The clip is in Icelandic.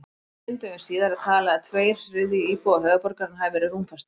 Fimm dögum síðar er talið að tveir þriðju íbúa höfuðborgarinnar hafi verið rúmfastir.